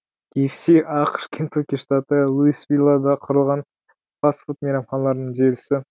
кғс ақш кентукки штаты луисвиллада құрылған фаст фуд мейрамханаларының желісі